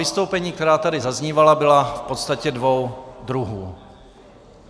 Vystoupení, která tady zaznívala, byla v podstatě dvou druhů.